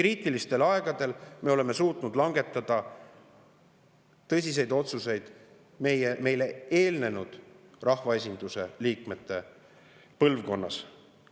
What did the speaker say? Kriitilistel aegadel on meile eelnenud rahvaesinduse liikmete põlvkond suutnud langetada tõsiseid otsuseid.